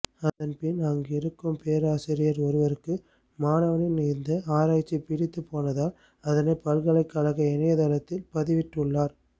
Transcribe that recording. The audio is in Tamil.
அதன் பின் அங்கிருக்கும் பேராசிரியர் ஒருவருக்கு மாணவனின் இந்த ஆராய்ச்சி பிடித்து போனதால் அதனை பல்கலைக் கழக இணையதளத்தில் பதிவிட்டுள்ளார்